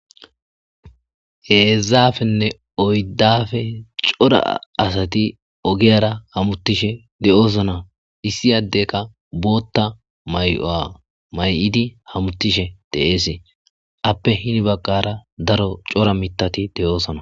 Heezaafenne oyddafe cora asati ogiyara hamuttishe de7oosona issiyaddeka bootta may7o7a may7idi hamutishe deeese appe hini bagqara daro cora mitati de,oosona.